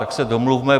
Tak se domluvme.